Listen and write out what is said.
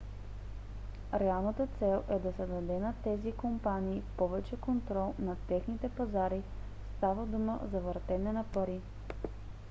реалната цел е да се даде на тези компании повече контрол над техните пазари; става дума за въртене на пари